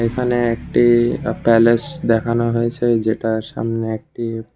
এখানে একটি প্যালেস যেটার সামনে একটি --